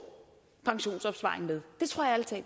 pensionsopsparing med